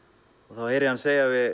þá heyri ég hann segja við